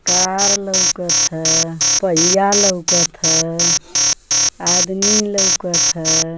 कार लउकत ह पहिया लउकत ह आदमी लउकत ह।